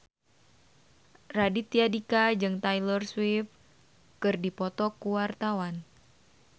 Raditya Dika jeung Taylor Swift keur dipoto ku wartawan